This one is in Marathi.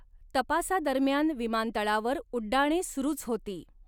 तपासादरम्यान विमानतळावर उड्डाणे सुरूच होती.